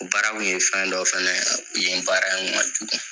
O baara kun ye fɛn dɔ fana ye yen baara in man jugu.